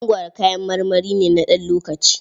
Mangwaro kayan marmari ne na ɗan lokaci.